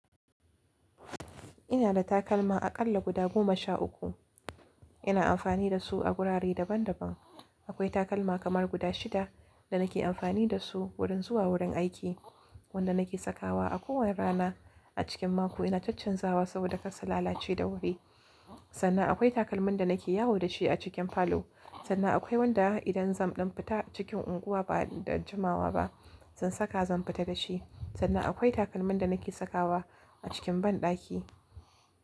Ina da takalma aƙalla guda goma sha uku. Ina amfani da su a gurare daban daban. Akwai takalma kamar guda shida da nake amfani da su wurin zuwa wurin aiki, wanda nake sakawa a kowane rana a cikin mako ina caccanzawa saboda karsu lalace da wuri. Sannan akwai takalmin da nake yawo da shi a cikin falo. Sannan akwai wanda idan zan ɗan fita cikin unguwa ba da jimawa ba zan saka zan fita da shi. Sannan akwai takalmin da nake sakawa a cikin banɗaki.